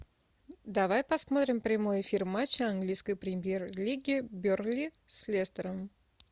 давай посмотрим прямой эфир матча английской премьер лиги бернли с лестером